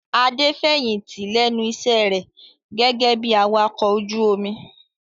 Adé fẹ̀yìntì lẹ́nu iṣẹ́ rẹ̀ gẹ́gẹ́ bí Awakọ̀ ojú omi.